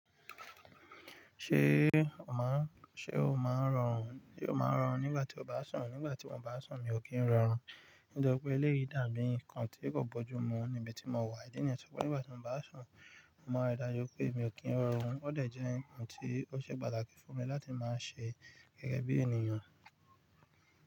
Ṣé o máa ń, ṣe o máa ń rọrùn, ṣe o máa ń rọrùn nígbà tí o bá sùn? Nígbà tí mo bá sùn, mi ò kí ń rọrùn. Nítorí pé eléyìí dàbí nǹkan tí kò bójú mu níbi tí mo wà. Ìdí nìyẹn to je pé nígbà tí mo bá sùn, mo máa ri dájú pé mi ò kí ń rọrùn. Ó dẹ̀ jẹ́ ǹkan tí ó ṣe pàtàkì fún mi láti máa ṣe gẹ́gẹ́ bí ènìyàn.